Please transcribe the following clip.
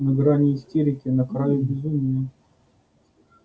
на грани истерики на краю безумия